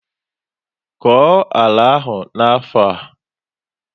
Koo àlà áhù n'afọ a!